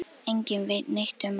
Enginn veit neitt um hann.